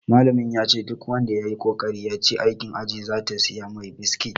Malamin yace duk wanda yayi kokari ya ci aikin ajin zata siya mai biskit